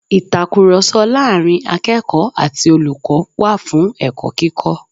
Ìtakùròsọ láàrin akẹ́ẹ̀kọ̀ọ́ ati olùkọ́ wà fún ẹ̀kọ́ kíkọ́